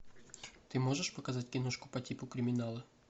ты можешь показать киношку по типу криминала